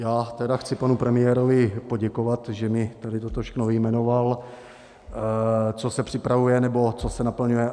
Já tedy chci panu premiérovi poděkovat, že mi tady toto všechny vyjmenoval, co se připravuje, nebo co se naplňuje.